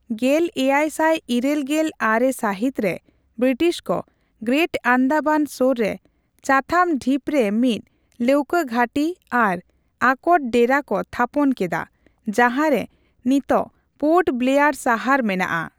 ᱜᱮᱞᱮᱭᱟᱭ ᱥᱟᱭ ᱤᱨᱟᱹᱞ ᱜᱮᱞ ᱟᱨᱮ ᱥᱟᱦᱤᱛᱨᱮ, ᱵᱨᱤᱴᱤᱥ ᱠᱚ ᱜᱨᱮᱴ ᱟᱱᱫᱟᱢᱟᱱ ᱥᱳᱨ ᱨᱮ ᱪᱟᱛᱷᱟᱢ ᱰᱷᱤᱯᱨᱮ ᱢᱤᱫ ᱞᱟᱹᱣᱠᱟᱹ ᱜᱷᱟᱹᱴᱤ ᱟᱨ ᱟᱠᱚᱴ ᱰᱮᱨᱟ ᱠᱚ ᱛᱷᱟᱯᱚᱱ ᱠᱮᱫᱟ, ᱡᱟᱦᱟᱸᱨᱮ ᱱᱤᱛ ᱯᱳᱨᱴ ᱵᱞᱮᱭᱟᱨ ᱥᱟᱦᱟᱨ ᱢᱮᱱᱟᱜᱼᱟ ᱾